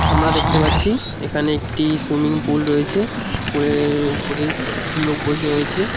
আমরা দেখতে পাচ্ছি এখানে একটি সুইমিং পুল রয়েছে পুলের ওপরে কিছু লোক বসে রয়েছে।